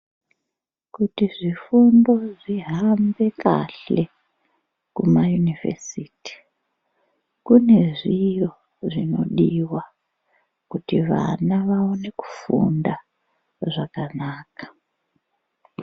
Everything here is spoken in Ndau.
Kuti zvifundo zvihambe kahle kumayunivhesiti. Kune zviro zvinodiva kuti vana vaone kufunda zvakanaka.